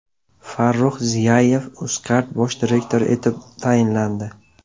Farrux Ziyayev Uzcard bosh direktori etib tayinlandi.